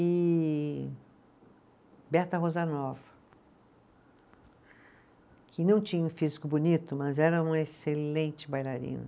E Berta Rosanova, que não tinha um físico bonito, mas era uma excelente bailarina.